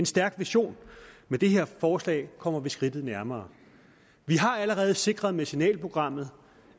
stærk vision med det her forslag kommer vi et skridt nærmere vi har allerede sikret med signalprogrammet